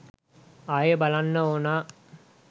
ආයේ බලන්න ඕනා